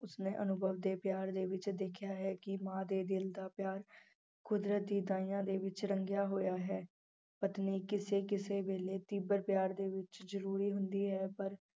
ਉਸਨੇ ਅਨੁਭਵ ਦੇ ਪਿਆਰ ਦੇ ਵਿੱਚ ਦੇਖਿਆ ਹੈ ਕਿ ਮਾਂ ਦੇ ਦਿਲ ਦਾ ਪਿਆਰ ਕੁਦਰਤ ਦੀ ਦਾਈਆਂ ਦੇ ਵਿੱਚ ਰੰਗਿਆ ਹੋਇਆ ਹੈ, ਪਤਨੀ ਕਿਸੇ ਕਿਸੇ ਵੇਲੇ ਤੀਬਰ ਪਿਆਰ ਦੇ ਵਿੱਚ ਜ਼ਰੂਰੀ ਹੁੰਦੀ ਹੈ ਪਰ